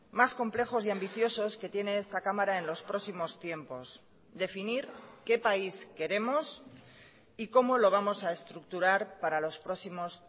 más complejos y ambiciosos que tiene esta cámara en los próximos tiempos definir qué país queremos y cómo lo vamos a estructurar para los próximos